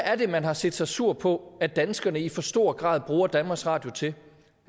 er det man har set sig sur på at danskerne i for stor grad bruger danmarks radio til